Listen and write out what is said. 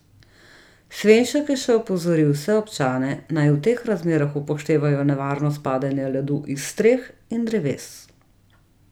Svenšek je še opozoril vse občane, naj v teh razmerah upoštevajo nevarnost padanja ledu iz streh in dreves.